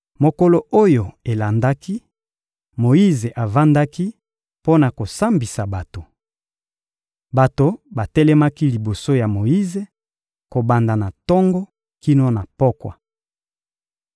Mokolo oyo elandaki, Moyize avandaki mpo na kosambisa bato. Bato batelemaki liboso ya Moyize, kobanda na tongo kino na pokwa.